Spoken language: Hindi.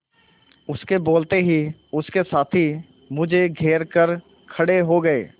उसके बोलते ही उसके साथी मुझे घेर कर खड़े हो गए